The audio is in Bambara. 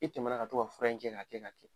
I tɛmɛna ka to ka fura in kɛ k'a kɛ k'a kɛ.